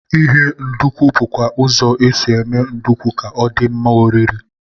Ighe nduku bụkwa ụzọ e si eme nduku ka ọ dị mma oriri.